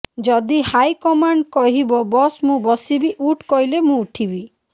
ଯଦି ହାଇକମାଣ୍ଡ୍ କହିବ ବସ୍ ମୁଁ ବସିବି ଉଠ୍ କହିଲେ ମୁଁ ଉଠିବି